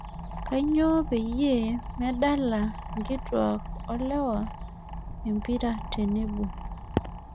Kanyoo peyie medala nkituak olewa empira tenebo